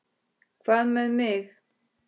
Hvað með mig?